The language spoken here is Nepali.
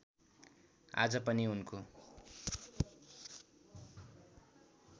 आज पनि उनको